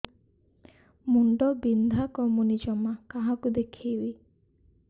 ମୁଣ୍ଡ ବିନ୍ଧା କମୁନି ଜମା କାହାକୁ ଦେଖେଇବି